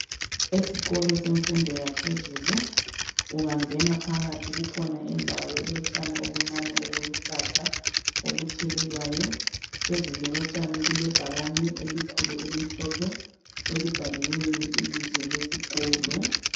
Esikolo semfundo yaphezulu ungangena phakathi kukhona indawo elotshani obuncane obuluhlaza obuthelelwayo phezulu kotshani kulebhakane elikhulu elimhlophe elibhaliweyo ibizo lesikolo.